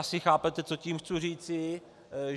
Asi chápete, co tím chci říci.